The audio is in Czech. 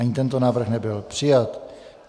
Ani tento návrh nebyl přijat.